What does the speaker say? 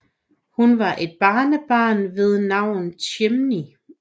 Hun har et barnebarn ved navn Chimney